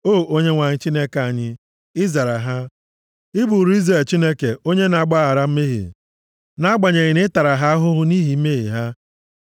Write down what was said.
O Onyenwe anyị, Chineke anyị, ị zara ha; ị bụụrụ Izrel Chineke onye na-agbaghara mmehie, nʼagbanyeghị na ị tara ha ahụhụ nʼihi mmehie ha.